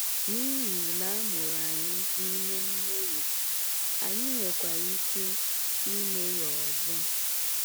N’ihi na amụrụ anyị n’ime mmehie, anyị nwekwara ike imehie ọzọ.